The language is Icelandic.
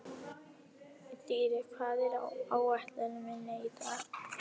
Dýri, hvað er á áætluninni minni í dag?